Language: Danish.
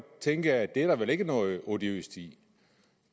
tænker jeg at det er der vel ikke noget odiøst i